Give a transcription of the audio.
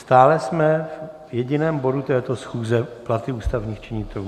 Stále jsme v jediném bodu této schůze - platy ústavních činitelů.